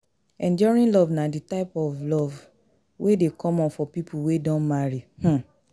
Enduring Love na di type of Love wey de common for pipo wey don marry um